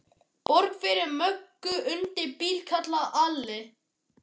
Borg fyrir Möggu undir bíl, kallaði Alli.